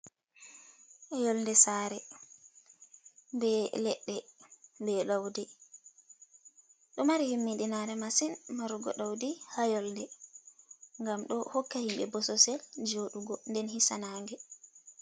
Yolde sare ɓe leɗɗe be ɗaudi ɗo mari himmidinare masin marugo ɗaudi ha yolde ngam ɗo hokka himɓe bososel joɗugo nden hisa nange.